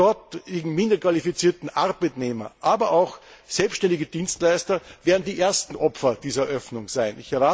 Die dort minderqualifizierten Arbeitnehmer, aber auch selbständige Dienstleister werden die ersten Opfer dieser Öffnung sein.